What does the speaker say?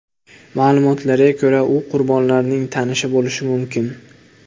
Ma’lumotlarga ko‘ra, u qurbonlarning tanishi bo‘lishi mumkin.